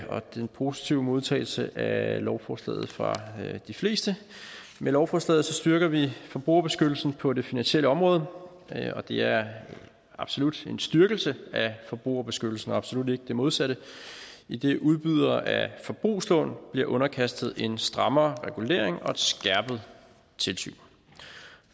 og den positive modtagelse af lovforslaget fra de fleste med lovforslaget styrker vi forbrugerbeskyttelsen på det finansielle område og det er absolut en styrkelse af forbrugerbeskyttelsen og absolut ikke det modsatte idet udbydere af forbrugslån bliver underkastet en strammere regulering og et skærpet tilsyn